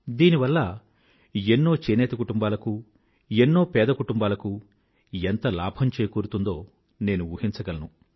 దీనివల్ల ఎన్నో నేత పనిచేసే కుటుంబాలకూ చేనేత కుటుంబాలకూ ఎన్నో పేద కుటుంబాలకు ఎంత లాభం చేకూరుతుందో నేను ఊహించగలను